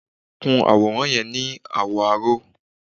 Kun àwòrán yẹn ni àwọ̀ aró!